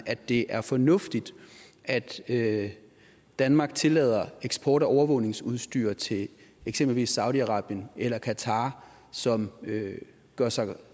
at det er fornuftigt at at danmark tillader eksport af overvågningsudstyr til eksempelvis saudi arabien eller qatar som gør sig